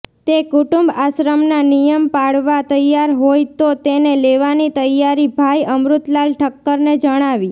તે કુટુંબ આશ્રમના નિયમ પાળવા તૈયાર હોય તો તેને લેવાની તૈયારી ભાઈ અમૃતલાલ ઠક્કરને જણાવી